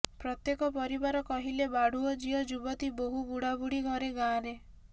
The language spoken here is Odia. ପ୍ରତ୍ୟେକ ପରିବାର କହିଲେ ବାଢୁଅ ଝିଅ ଯୁବତୀ ବୋହୁ ବୁଢାବୁଢି ଘରେ ଗାଁରେ